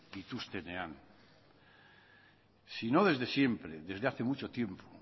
dituztenean si no desde siempre desde hace mucho tiempo